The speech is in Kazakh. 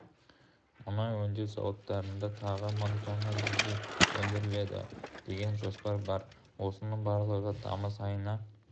мұнай өңдеу зауыттарында тағы мың тонна дизель өндіріледі деген жоспар бар осының барлығы тамыз айына